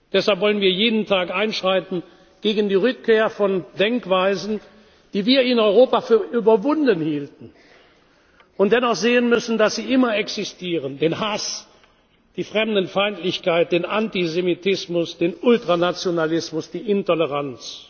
Deshalb wollen wir jeden Tag einschreiten gegen die Rückkehr von Denkweisen, die wir in Europa für überwunden hielten und bei denen wir dennoch sehen müssen, dass sie immer existieren den Hass, die Fremdenfeindlichkeit, den Antisemitismus, den Ultranationalismus, die Intoleranz.